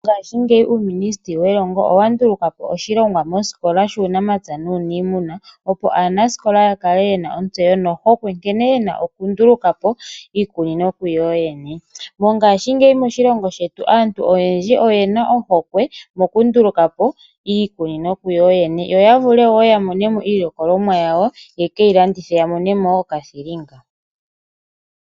Mongaashi ngeyi uuminisiteli welongo owandulukapo oshilongwa mosikola shuunamapya nuunimuna, opo aanasikola yakale yena ontseyo no hokwe nkene yena okundulukapo iikunino kuyoyene. Mongaashi ngeyi moshilongo shetu aantu oyendji oyena ohokwe mokundulukapo iikunino kuyooyene, yo yavule yamonemo iilikolomwa yawo, yekeilandithe yiimonene mo okathilinga.